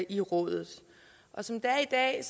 i rådet som det er i dag